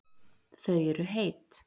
Þau eru heit